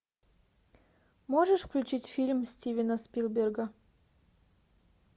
можешь включить фильм стивена спилберга